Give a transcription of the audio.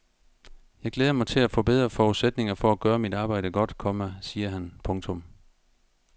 Jeg glæder mig til at få bedre forudsætninger for at gøre mit arbejde godt, komma siger han. punktum